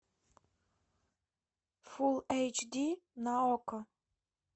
фул эйч ди на окко